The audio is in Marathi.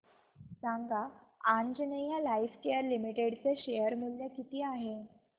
सांगा आंजनेया लाइफकेअर लिमिटेड चे शेअर मूल्य किती आहे